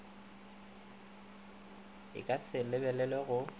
e ka se lebelelwe go